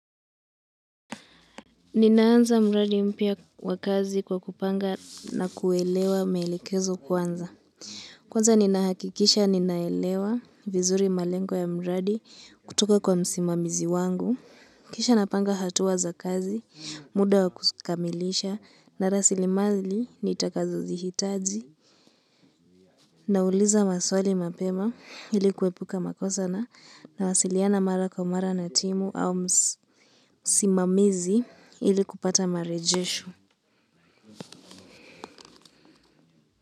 Ninaanza mradi mpya wa kazi kwa kupanga na kuelewa maelekezo kwanza. Kwanza ninahakikisha ninaelewa vizuri malengo ya mradi kutoka kwa msimamizi wangu. Kisha napanga hatua za kazi, muda wa kukamilisha na rasilimali nitakazozihitaji. Nauliza maswali mapema ili kuepuka makosa na nawasiliana mara kwa mara na timu au msimamizi ili kupata marejesho.